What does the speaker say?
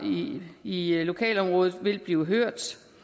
i i lokalområdet vil blive hørt